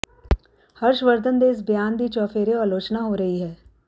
ਹਰਸ਼ਵਰਧਨ ਦੇ ਇਸ ਬਿਆਨ ਦੀ ਚੁਫੇਰਿਉਂ ਆਲੋਚਨਾ ਹੋ ਰਹੀ ਹੈ